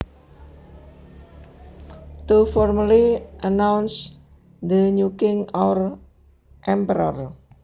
To formally announce the new king or emperor